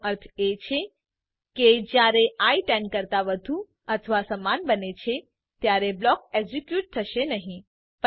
એનો અર્થ એ છે કે જયારે આઇ 10 કરતા વધુ અથવા સમાન બને છે ત્યારે બ્લોક એક્ઝીક્યુ થશે નહી